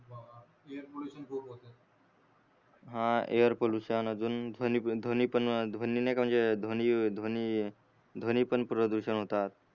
हा air pollution अजून ध्वनी ध्वनी ध्वनी पण ध्वनी नाहीका म्हणजे ध्वनी ध्वनी ध्वनी पण प्रदूषण होतात.